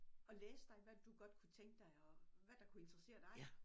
Og læse dig hvad du godt kunne tænke dig og hvad der kunne interessere dig